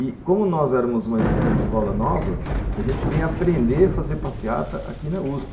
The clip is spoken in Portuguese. E como nós éramos uma uma escola nova, a gente vinha aprender a fazer passeata aqui na USP.